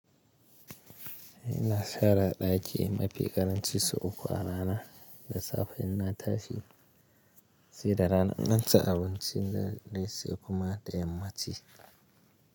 Ina sara ɗaki mafi ƙaranci sau uku a rana da safe in na tashi sai da rana in nan ci abinci na ne se kuma da yamma ci.